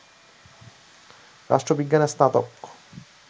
রাষ্ট্রবিজ্ঞানে স্নাতক